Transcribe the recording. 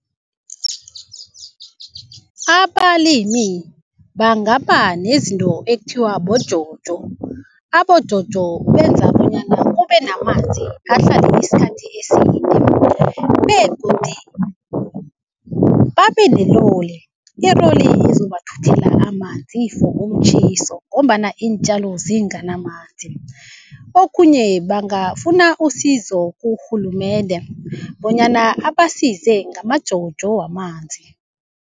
Abalimi bangaba nezinto ekuthiwa boJojo. AboJojo benza bonyana kubenamanzi, ahlale isikhathi eside begodi babeneroli. Iroli ezobathuthela amanzi for umtjhiso ngombana iintjalo zinganamanzi. Okhunye, bangafuna usizo kurhulumende bonyana abasize ngamaJojo wamanzi.